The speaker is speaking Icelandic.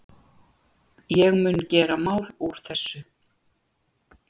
Ég mun gera mál úr þessu.